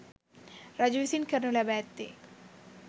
රජු විසින් කරනු ලැබ ඇත්තේ